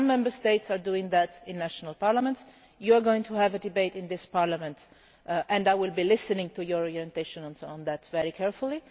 Some Member States are doing that in national parliaments you are going to have a debate in this Parliament and I will be listening to your orientation very carefully.